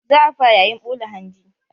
Za a fara yayin ɓula hanji.